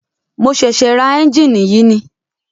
Mo ṣẹ̀ṣẹ̀ ra ẹ́njìnì yìí ni.